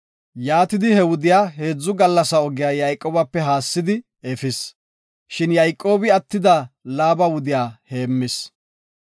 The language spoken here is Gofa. Yaatidi he wudiya heedzu gallasa ogiya Yayqoobape haassidi efis. Shin Yayqoobi attida Laaba wudiya heemmis.